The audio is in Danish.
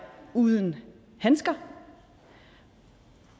uden handsker